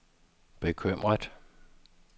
bekymret